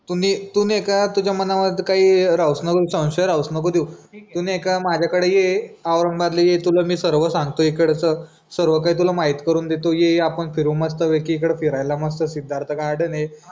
तू मी का तुझ्या मनावर काही राहूस नको देऊ संशय राहूस नको देऊ तू नई का माझ्या कडे ये औरंगाबाद ला ये तुला मी सर्व सांगतो इकडचं सर्वकाही तुला माहित करून देतो ये ये आपण फिरू मस्तपैकी इकडं फिरायला मस्त सिद्धार्थ गार्डन ये.